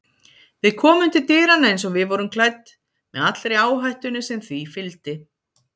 Við komum til dyranna eins og við vorum klædd með allri áhættunni sem því fylgdi.